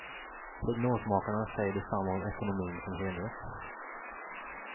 Prognosmakarna säger detsamma om ekonomin som helhet.